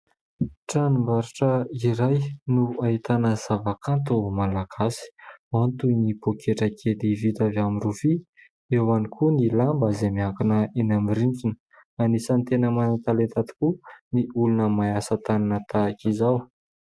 Tranom-barotra iray no ahitana zava-kanto malagasy, ao ny toy ny pôketrakely vita avy amin'ny rofia, eo ihany koa ny lamba izay miankina eny amin'ny rindrina. Anisan'ny tena manan-talenta tokoa ny olona mahay asa-tanana tahaka izao.